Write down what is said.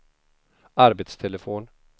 arbetstelefon